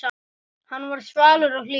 Hann var svalur og hlýr.